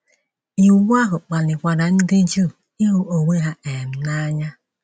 Iwu ahụ kpalikwara ndị Juu ịhụ onwe ha um n’anya.